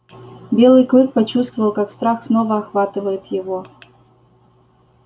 белый клык почувствовал как страх снова охватывает его